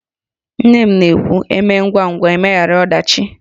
Nne m na-ekwu "E mee ngwangwa, e meghara ọdachi"